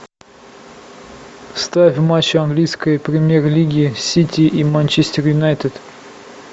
ставь матч английской премьер лиги сити и манчестер юнайтед